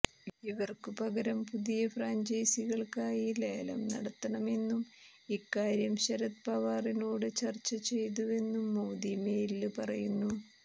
ഇവര്ക്കു പകരം പുതിയ ഫ്രാഞ്ചൈസികള്ക്കായി ലേലം നടത്തണമെന്നും ഇക്കാര്യം ശരദ് പവാറിനോട് ചര്ച്ച ചെയ്തുവെന്നും മോദി മെയില് പറയുന്നു